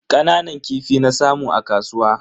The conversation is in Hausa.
Kananan kifi na samu a kasuwa.